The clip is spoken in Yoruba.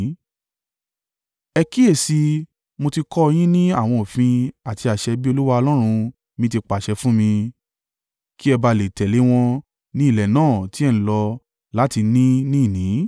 Ẹ kíyèsi i, mo ti kọ́ ọ yín ní àwọn òfin àti àṣẹ bí Olúwa Ọlọ́run mi ti pàṣẹ fún mi, kí ẹ ba à le tẹ̀lé wọn ní ilẹ̀ náà tí ẹ ń lọ láti ní ní ìní.